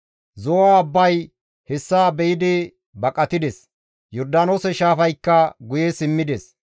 Zo7o abbay hessa be7idi baqatides; Yordaanoose shaafaykka guye simmides.